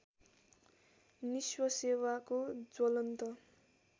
निस्व सेवाको ज्वलन्त